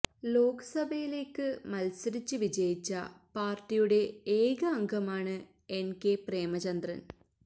ലോക്സഭയിലേക്ക് മത്സരിച്ച് വിജയിച്ച പാര്ട്ടിയുടെ ഏക അംഗമാണ് എന് കെ പ്രേമചന്ദ്രന്